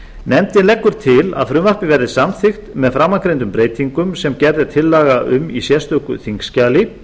nefndin leggur til að frumvarpið verði samþykkt með framangreindum breytingum sem gerð er tillaga um í sérstöku þingskjali